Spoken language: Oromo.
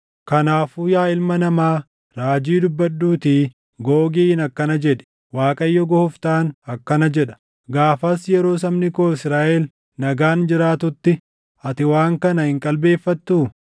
“Kanaafuu yaa ilma namaa, raajii dubbadhuutii Googiin akkana jedhi: ‘ Waaqayyo Gooftaan akkana jedha: Gaafas yeroo sabni koo Israaʼel nagaan jiraatutti ati waan kana hin qalbeeffattuu?